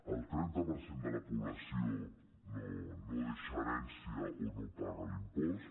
el trenta per cent de la població no deixa herència o no paga l’impost